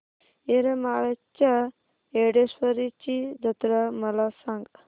येरमाळ्याच्या येडेश्वरीची जत्रा मला सांग